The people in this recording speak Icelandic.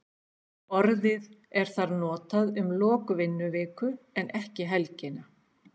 Orðið er þar notað um lok vinnuviku en ekki helgina.